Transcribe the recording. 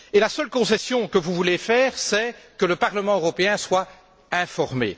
La seule concession que vous voulez faire est que le Parlement européen soit informé.